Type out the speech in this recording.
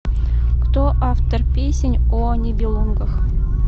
кто автор песнь о нибелунгах